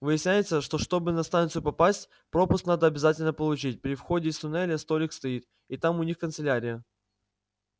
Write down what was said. выясняется что чтобы на станцию попасть пропуск надо обязательно получить при выходе из туннеля столик стоит и там у них канцелярия